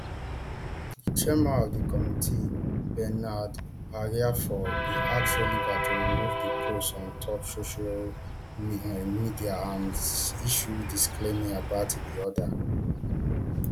di chairman of di committee bernard ahiafor bin ask oliver to remove di post on top social um media and issue disclaimer about di oda